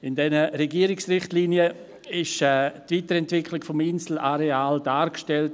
In diesen Regierungsrichtlinien wurde die Weiterentwicklung des Inselareals dargestellt: